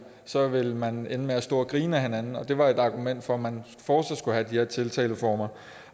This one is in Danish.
så ville man ende med at stå og grine ad hinanden det var et argument for at man fortsat skulle have de her tiltaleformer